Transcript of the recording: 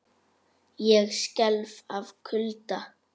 Ég skelf af kulda.